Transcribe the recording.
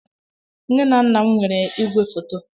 Nne na nna m nwere igwefoto.